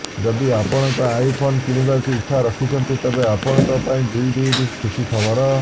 ଯଦି ଆପଣ ଆଇଫୋନ କିଣିବାକୁ ଇଚ୍ଛା ରଖିଛନ୍ତି ତେବେ ଆପଣଙ୍କ ପାଇଁ ଦୁଇ ଦୁଇଟି ଖୁସି ଖବର